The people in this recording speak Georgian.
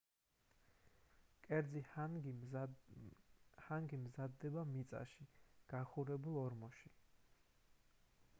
კერძი ჰანგი მზადდება მიწაში გახურებულ ორმოში